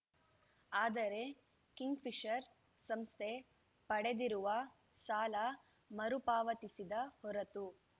ಆದರೆ ಕಿಂಗ್‌ಫಿಷರ್‌ ಸಂಸ್ಥೆ ಪಡೆದಿರುವ ಸಾಲ ಮರುಪಾವತಿಸದ ಹೊರತು